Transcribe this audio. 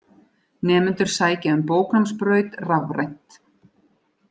Nemendur sækja um bóknámsbraut rafrænt.